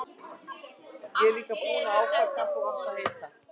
Ég er líka búinn að ákveða hvað þú átt að heita.